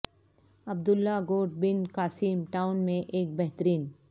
عبد اللہ Goth Bin Qasim town میں ایک بہترین